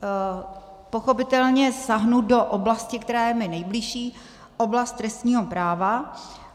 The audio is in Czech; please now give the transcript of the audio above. Pochopitelně sáhnu do oblasti, která je mi nejbližší, oblasti trestního práva.